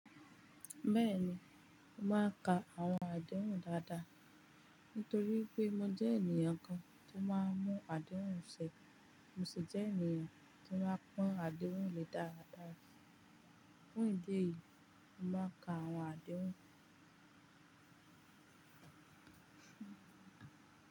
Bẹ́ẹ̀ni, mo máa ka àwọn àdéhùn dáadáa. Nítorí pé mo jẹ́ ènìyàn kan tó máa ń mú àdéhùn ṣe, mo sì jẹ́ ènìyàn tó máa ń pọn àdéhùn lè dáadáa. Fún ìdí èyí, mo máa ka àwọn àdéhùn.